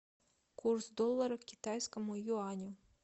курс доллара к китайскому юаню